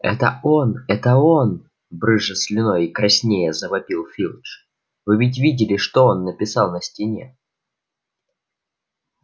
это он это он брызжа слюной и краснея завопил филч вы ведь видели что он написал на стене